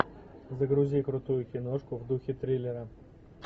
загрузи крутую киношку в духе триллера